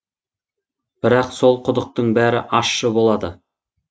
бірақ сол құдықтың бәрі ащы болады